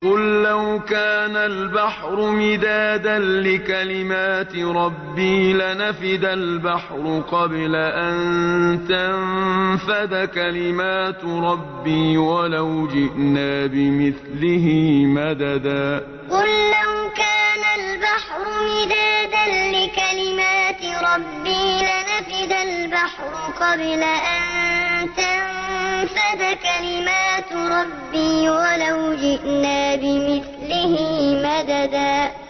قُل لَّوْ كَانَ الْبَحْرُ مِدَادًا لِّكَلِمَاتِ رَبِّي لَنَفِدَ الْبَحْرُ قَبْلَ أَن تَنفَدَ كَلِمَاتُ رَبِّي وَلَوْ جِئْنَا بِمِثْلِهِ مَدَدًا قُل لَّوْ كَانَ الْبَحْرُ مِدَادًا لِّكَلِمَاتِ رَبِّي لَنَفِدَ الْبَحْرُ قَبْلَ أَن تَنفَدَ كَلِمَاتُ رَبِّي وَلَوْ جِئْنَا بِمِثْلِهِ مَدَدًا